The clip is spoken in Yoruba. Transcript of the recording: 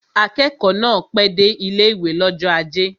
Akẹ́kọ̀ọ́ náà pẹ́ dé ilé-ìwé l'ọ́jọ́ ajé